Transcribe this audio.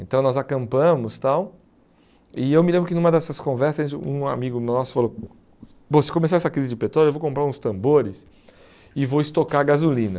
Então nós acampamos e tal, e eu me lembro que numa dessas conversas um amigo nosso falou, bom se começar essa crise de petróleo eu vou comprar uns tambores e vou estocar gasolina.